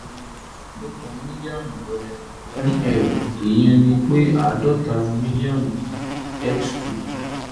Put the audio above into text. nínú àádọ́ta mílíọ̀nù rẹ/ml ìyẹn ni pé àádọ́ta mílíọ̀nù x two